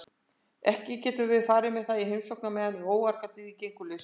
Ekki getum við farið með það í heimsókn meðan óargadýrið gengur laust.